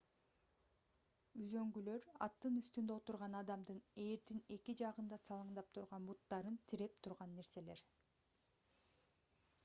үзөңгүлөр аттын үстүндө отурган адамдын ээрдин эки жагында салаңдап турган буттарын тиреп турган нерселер